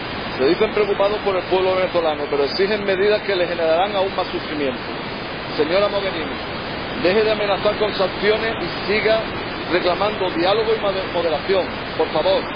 Se dicen preocupados por el pueblo venezolano, pero exigen medidas que le generarán aún más sufrimiento. Señora Mogherini, deje de amenazar con sanciones y siga reclamando diálogo y moderación, por favor.